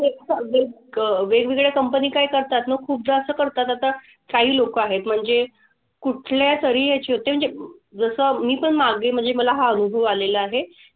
हेच एक वेगवेगळे company काय करतात ना खूपदा असं करतात. आता काही लोकं आहेत म्हणजे कुठल्यातरी म्हणजे जसं मी पण मागे म्हणजे मला हा अनुभव आलेला आहे.